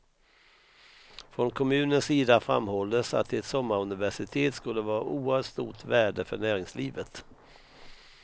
Från kommunens sida framhålles att ett sommaruniversitet skulle vara av oerhört stort värde för näringslivet.